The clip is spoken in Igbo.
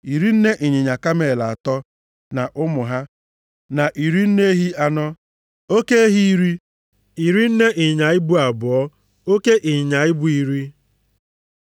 Iri nne ịnyịnya kamel atọ (30) na ụmụ ha, na iri nne ehi anọ (40), oke ehi iri (10), iri nne ịnyịnya ibu abụọ (20), oke ịnyịnya ibu iri (10).